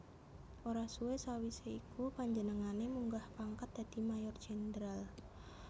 Ora suwé sawisé iku panjenengané munggah pangkat dadi Mayor Jenderal